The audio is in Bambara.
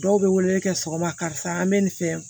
Dɔw bɛ wele kɛ sɔgɔma karisa an bɛ nin fɛ